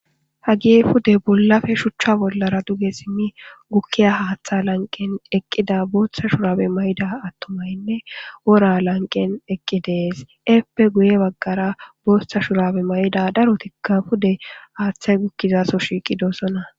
Hagey pude bollappe shucha bollara duge sim gukiya Hatha lanqen eqida bootha shurabe mayda atumatinne wora lanqen eqi de'es eppe guye bagara bootha shurabe mayda darotika pude hathay gukiyaso shiqidosona